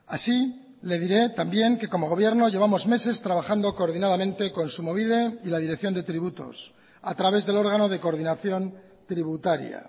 así le diré también que como gobierno llevamos meses trabajando coordinadamente kontsumobide y la dirección de tributos a través del órgano de coordinación tributaria